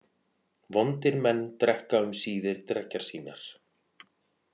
Vondir menn drekka um síðir dreggjar sínar.